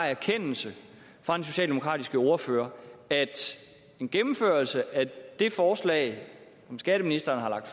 erkendelse fra den socialdemokratiske ordfører at en gennemførelse af det forslag som skatteministeren